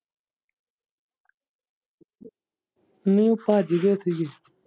ਨੀ ਭੱਜ ਗਏ ਸੀਗੇ।